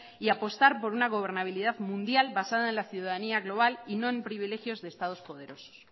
y apostar por una gobernabilidad mundial basada en la ciudadanía global y no en privilegios de estados poderosos